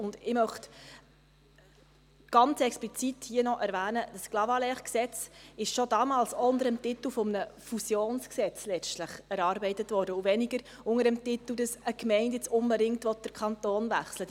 Ich möchte hier ganz explizit erwähnen, dass das ClaG schon damals letztlich auch unter dem Titel eines Fusionsgesetzes erarbeitet wurde, und weniger unter dem Titel, dass eine Gemeinde jetzt unbedingt den Kanton wechseln will.